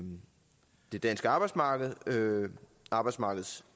det danske arbejdsmarked og arbejdsmarkedets